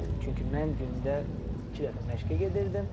Çünki mən gündə iki dəfə məşqə gedirdim.